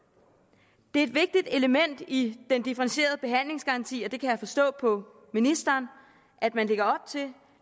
det er et vigtigt element i den differentierede behandlingsgaranti og det kan jeg forstå på ministeren at man lægger til